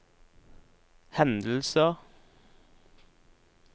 hendelser